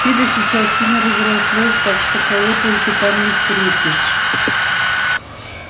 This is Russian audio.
фидо сейчас сильно разрослось так что кого только там не встретишь